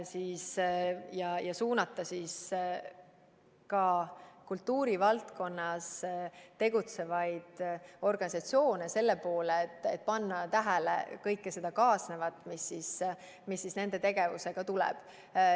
Tuleks suunata ka kultuurivaldkonnas tegutsevaid organisatsioone selle poole, et nad paneksid tähele kõike seda, mis nende tegevusega kaasneb.